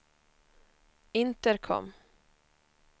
intercom